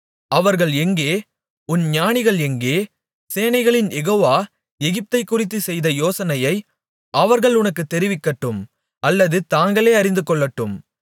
அவர்கள் எங்கே உன் ஞானிகள் எங்கே சேனைகளின் யெகோவா எகிப்தைக்குறித்துச்செய்த யோசனையை அவர்கள் உனக்குத் தெரிவிக்கட்டும் அல்லது தாங்களே அறிந்துகொள்ளட்டும்